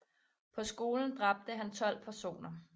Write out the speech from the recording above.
På skolen dræbte han 12 personer